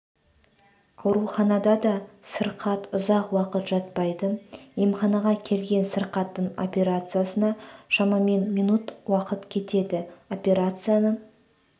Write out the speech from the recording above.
ауруханада да сырқат ұзақ уақыт жатпайды емханаға келген сырқаттың операциясына шамамен минут уақыт кетеді операцияны